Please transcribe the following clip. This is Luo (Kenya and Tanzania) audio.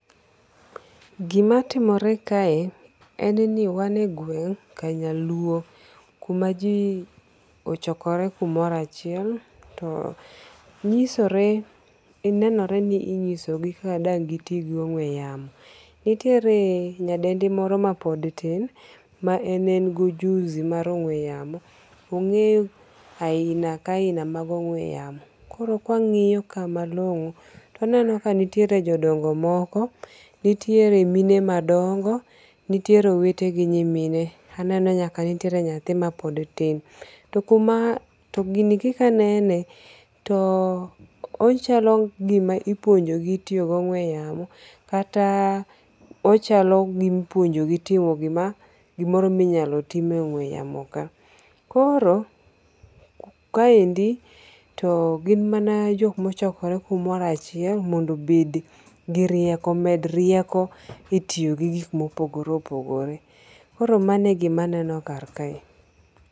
Gimatimore kae en ni wanie gweng kanyaluo, kumaji ochokore kumoro achiel to nyisore, nenore ni inyisogi kaka dang gi ti gi ong'we wamo. Nitire nyadendi moro ma pod tin ma en en gi ojuzi mar ong'we yamo ongeyo aina ka aina mag ong'we yamo, koro kwangi'yo kae malongo to aneno kanitierie jodongo' moko, nitiere mine madong’o nitiere owete gi nyimine aneno nyaka nitiere nyathima pod tin, to kuma to gini kika anene to ochalo gima ipuonjogi tiyo gi ong'we yamo kata ochalo gima ipuonjogi timo gima gimoro ma inyalo time ongwe yamo kae. Koro kaendi to gin mana jok ma ochokore kumoro achiel mondo obed gi rieko omed rieko e tiyo gi gik ma opogore opogore. Koro mano e gima aneno kar kae